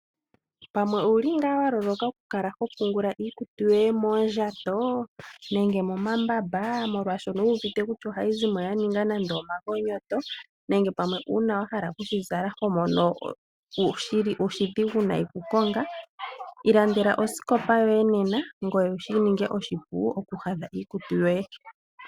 Pamwe owuli wa loloka okupungula iikutu yoye moondjayo momambamba ngoye owu wete kutya ohayi zimo ya ninga nande omagonyoto nenge wahala okushi zala, ihe oho mono oshidhigu okukonga? Ilandeka osikopa yoye sho shi ninge oshipu okukonga.